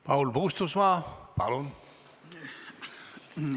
Paul Puustusmaa, palun!